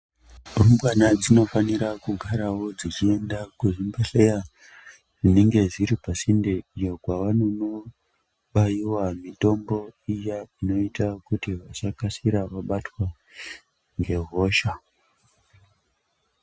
Rumbwana dzinofanira kugarawo dzechienda kuzvibhedhleya zvinenge zviri pasinde iyo kwavanonobaiwa mitombo iya inoita kuti vasakasikira vabatwa ngehosha.